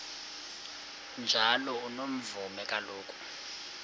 njalo unomvume kuloko